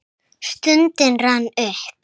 Stundin rann upp.